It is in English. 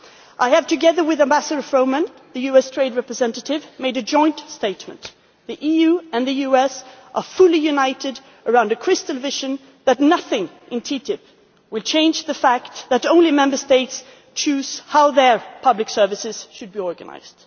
I have, together with Ambassador Froman, the US Trade Representative, made a joint statement the EU and the US are fully united around a crystal clear vision that nothing in TTIP will change the fact that only Member States choose how their public services should be organised.